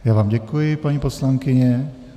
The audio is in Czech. Já vám děkuji, paní poslankyně.